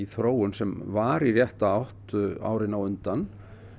þróun sem var í rétta átt árin á undan